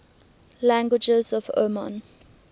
languages of oman